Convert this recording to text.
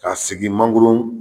K'a sigi mangoro